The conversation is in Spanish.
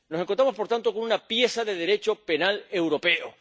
Nos encontramos, por tanto, con una pieza de Derecho penal europeo.